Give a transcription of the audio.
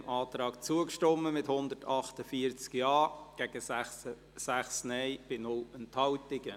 Sie haben diesem Antrag zugestimmt, mit 148 Ja- gegen 6 Nein-Stimmen bei 0 Enthaltungen.